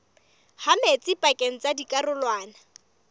ha metsi pakeng tsa dikarolwana